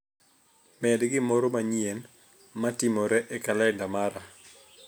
Med gimoro manyien matimore e kalenda mara